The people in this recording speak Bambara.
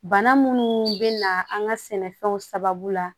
Bana munnu bɛ na an ka sɛnɛfɛnw sababu la